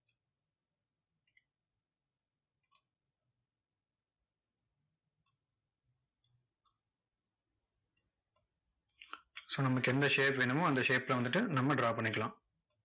so நமக்கு எந்த shape வேணுமோ, அந்த shape ல வந்துட்டு நம்ம draw பண்ணிக்கலாம்.